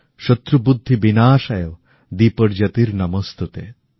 শত্রুবুদ্ধিবিনাশায় দীপজ্যোতির্নমোস্তুতে